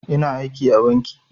Ina aiki a banki